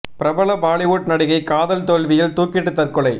பிரபல பாலிவுட் நடிகை காதல் தோல்வியில் தூக்கிட்டு தற்கொலை